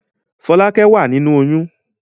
Fọ́lákẹ́ wà nínú oyún.